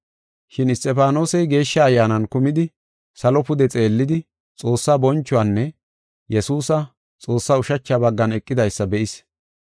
Shin Isxifaanosey Geeshsha Ayyaanan kumidi, salo pude xeellidi, Xoossaa bonchuwanne Yesuusa, Xoossa ushacha baggan eqidaysa be7is.